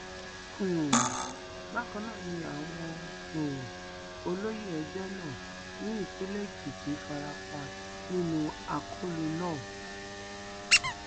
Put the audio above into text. um bákan náà ni àwọn um olóyè ẹgbẹ náà ní ìpínlẹ èkìtì fara pa nínú akólú náà